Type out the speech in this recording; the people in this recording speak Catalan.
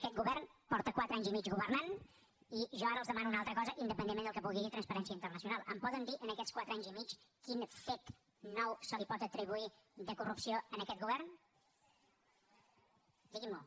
aquest govern porta quatre anys i mig governant i jo ara els demano una altra cosa independentment del que pugui dir transparència internacional em poden dir en aquests quatre anys i mig quin fet nou se li pot atribuir de corrupció a aquest govern digui m’ho